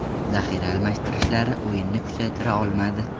Zaxira almashtirishlari o‘yinni kuchaytira olmadi.